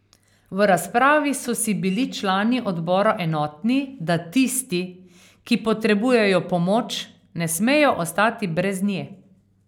V razpravi so si bili člani odbora enotni, da tisti, ki potrebujejo pomoč, ne smejo ostati brez nje.